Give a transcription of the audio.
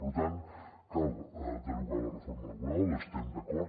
per tant cal derogar la reforma laboral hi estem d’acord